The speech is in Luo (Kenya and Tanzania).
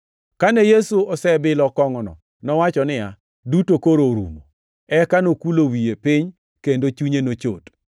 Kane Yesu osebilo kongʼono nowacho niya, “Duto koro orumo.” Eka nokulo wiye piny, kendo chunye nochot.